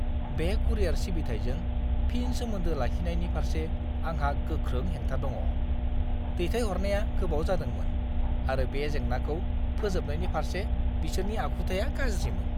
बे कुरियार सिबिथाइजों फिन सोमोन्दो लाखिनायनि फारसे आंहा गोख्रों हेंथा दङ। दैथायहरनाया गोबाव जादोंमोन, आरो बे जेंनाखौ फोजोबनायनि फारसे बिसोरनि आखुथाया गाज्रिमोन!